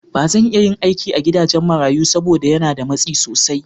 Ba zan iya yin aiki a gidajen marayu saboda yana da matsi sosai.